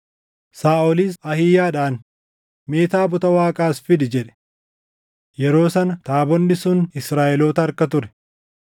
Saaʼolis Ahiiyaadhaan, “Mee taabota Waaqaa as fidi” jedhe. Yeroo sana taabonni sun Israaʼeloota harka ture.